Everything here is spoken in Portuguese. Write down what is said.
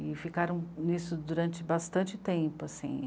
E ficaram nisso durante bastante tempo, assim.